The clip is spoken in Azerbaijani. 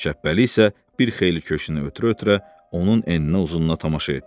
Şəbbəli isə bir xeyli köşünü ötürə-ötürə onun eninə-uzununa tamaşa etdi.